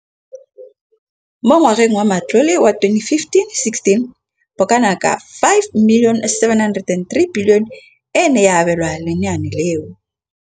Mo ngwageng wa matlole wa 2015,16, bokanaka R5 703 bilione e ne ya abelwa lenaane leno.